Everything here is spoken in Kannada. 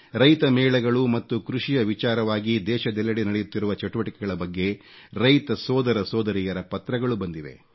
ರೈತ ಮೇಳಗಳು ಮತ್ತು ಕೃಷಿಯ ವಿಚಾರವಾಗಿ ದೇಶದೆಲ್ಲೆಡೆ ನಡೆಯುತ್ತಿರುವ ಚಟುವಟಿಕೆಗಳ ಬಗ್ಗೆ ರೈತ ಸೋದರಸೋದರಿಯರ ಪತ್ರಗಳು ಬಂದಿವೆ